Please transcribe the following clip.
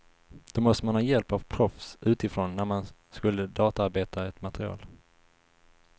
Då måste man ha hjälp av proffs utifrån när man skulle databearbeta ett material.